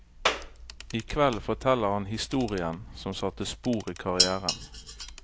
I kveld forteller han historien som satte spor i karrièren.